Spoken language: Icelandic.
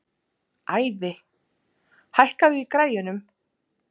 Ævi, hækkaðu í græjunum.